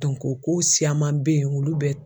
o ko siaman bɛ yen olu bɛ